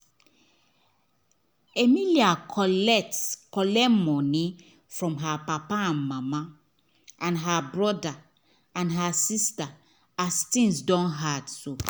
emily collect collect money from her papa and mama and her brother and sister as thngs don hard